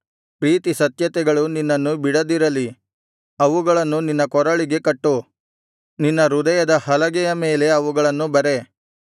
ಪ್ರೀತಿ ಸತ್ಯತೆಗಳು ನಿನ್ನನ್ನು ಬಿಡದಿರಲಿ ಅವುಗಳನ್ನು ನಿನ್ನ ಕೊರಳಿಗೆ ಕಟ್ಟು ನಿನ್ನ ಹೃದಯದ ಹಲಗೆಯ ಮೇಲೆ ಅವುಗಳನ್ನು ಬರೆ